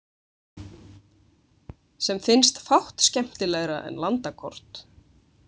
Sem finnst fátt skemmtilegra en landakort.